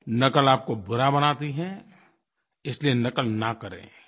नक़ल आपको बुरा बनाती है इसलिये नक़ल न करें